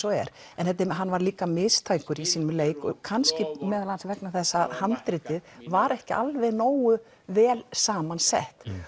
og er en hann var líka mistækur í sínum leik kannski meðal annars vegna þess að handritið var ekki alveg nógu vel saman sett